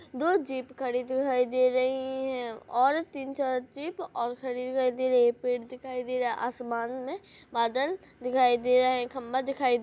दू जीप खड़ी दिखाई दे रही है और तीन-चार जीप और खड़ी दिखाई दे रही है पेड़ दिखाई दे रा आसमान में बादल दिखाई दे रहे है खंबा दिखाई--